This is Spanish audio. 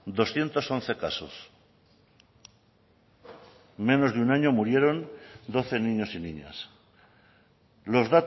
doscientos once casos en menos de un año murieron doce niños y niñas los